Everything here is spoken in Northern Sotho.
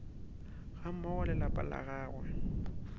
gammogo le lapa la gagwe